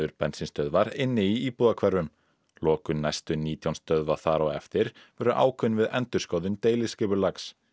bensínstöðvar inni í íbúðahverfum lokun næstu nítján stöðva þar á eftir verður ákveðin við endurskoðun deiliskipulags